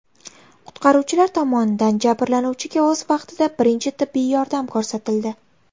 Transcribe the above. Qutqaruvchilar tomonidan jabrlanuvchiga o‘z vaqtida birinchi tibbiy yordam ko‘rsatildi.